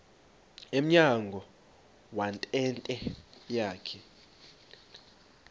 emnyango wentente yakhe